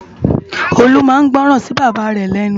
Olu má n gbòrán si Baba rè lènú